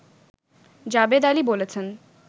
জাবেদ আলী বলেছেন